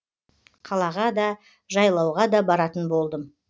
қалаға да жайлауға да баратын болдым